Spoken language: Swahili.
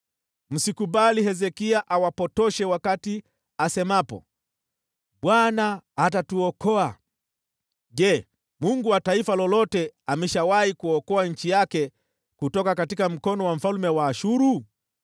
“Msikubali Hezekia awapotoshe asemapo, ‘ Bwana atatuokoa.’ Je, yuko mungu wa taifa lolote aliyewahi kuokoa nchi yake kutoka mkononi mwa mfalme wa Ashuru?